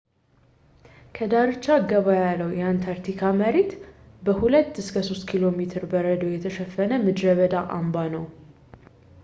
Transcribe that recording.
ከዳርቻ ገባ ያለው የአንታርክቲካ መሬት በ 2-3 ኪሜ በረዶ የተሸፈነ ምድረ በዳ አምባ ነው